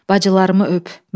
Bacılarıma öp.